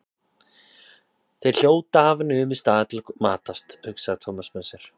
Þeir hljóta að hafa numið staðar til að matast, hugsaði Thomas með sér.